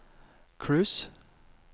cruise